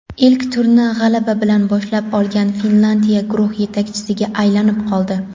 ilk turni g‘alaba bilan boshlab olgan Finlyandiya guruh yetakchisiga aylanib oldi.